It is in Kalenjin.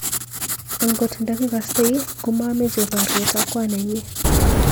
Angot ndakikoistokei komameche boryet ak kwan nenyi.